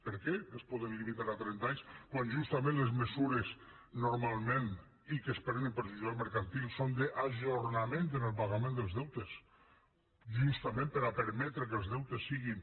per què es poden limitar a trenta anys quan justament les mesures normalment i que es prenen per jutjat mercantil són d’ajornament en el pagament dels deutes justament per a permetre que els deutes siguin